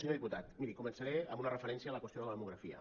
senyor diputat miri començaré amb una referència a la qüestió de la demografia